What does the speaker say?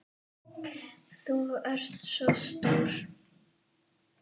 Þú ert svo stór.